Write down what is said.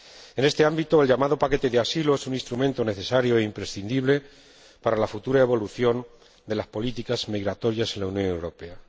En este ámbito, el llamado paquete de asilo es un instrumento necesario e imprescindible para la futura evolución de las políticas migratorias en la Unión Europea.